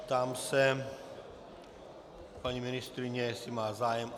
Ptám se paní ministryně, jestli má zájem.